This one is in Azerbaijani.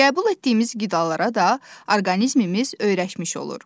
Qəbul etdiyimiz qidalara da orqanizmimiz öyrəşmiş olur.